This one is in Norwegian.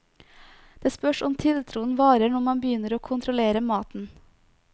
Det spørs om tiltroen varer når man begynner å kontrollere maten.